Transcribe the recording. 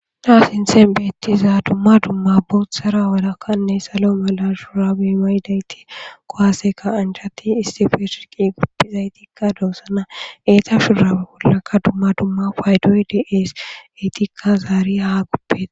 naa sinten beettiza dumma dumma boothtsara wodakkanne salo mala shurabe maydayti kowaaseka anchati istifesriqi guppizaytikka doossana eeta shurabe bollaka dumma dumma paydoy deeeseytikka zaari haa goppeta